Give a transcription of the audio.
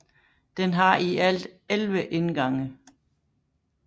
Den har i alt 11 indgange